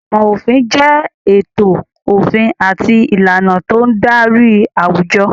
Ìmọ̀ òfin jẹ ètò òfin àti ìlànà tó ń darí àwùjọ.